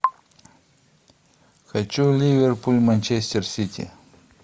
хочу ливерпуль манчестер сити